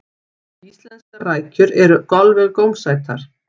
íslenskar rækjur eru alveg gómsætar